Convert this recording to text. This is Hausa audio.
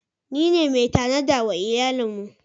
Ni ne mai tanada wa iyalin mu.